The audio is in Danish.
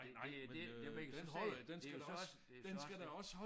Det det det det man kan så se det jo så det så også det